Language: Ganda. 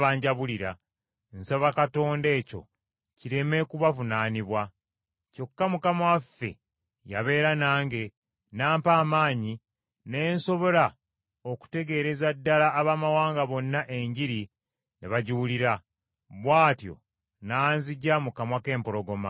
Kyokka Mukama waffe yabeera nange, n’ampa amaanyi, ne nsobola okutegeereza ddala Abaamawanga bonna Enjiri ne bagiwulira, bw’atyo n’anziggya mu kamwa k’empologoma.